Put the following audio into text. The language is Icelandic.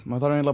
maður þarf